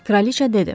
Kraliça dedi.